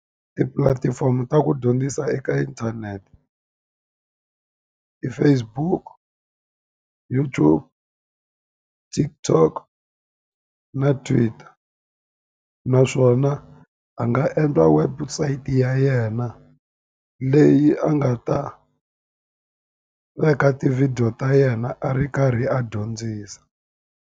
Tipulatifomo ta ku dyondzisa eka inthanete. Ti-Facebook, YouTube, TikTok na Twitter. Naswona a nga endliwa website ya yena, leyi a nga ta veka tivhidiyo ta yena a ri karhi a dyondzisa.